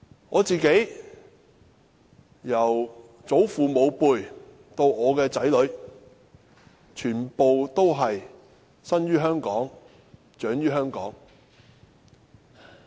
我的家族由祖父母輩到我的子女，全部生於香港、長於香港。